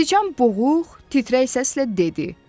Siçan boğuq, titrək səslə dedi.